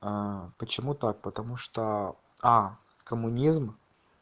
а почему так потому что а коммунизм